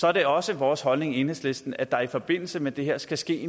er det også vores holdning i enhedslisten at der i forbindelse med det her skal ske